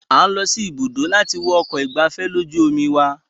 A ń lọ sí ibùdó láti wo ọkọ̀ ìgbafẹ́fẹ́ lójú omi wa.